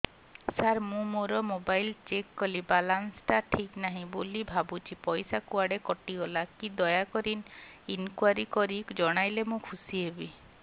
ସାର ମୁଁ ମୋର mobile check କଲି ବାଲାନ୍ସ ଟା ଠିକ ନାହିଁ ବୋଲି ଭାବୁଛି ପଇସା କୁଆଡେ କଟି ଗଲା କି ଦୟାକରି ଇନକ୍ୱାରି କରି ଜଣାଇଲେ ମୁଁ ଖୁସି ହେବି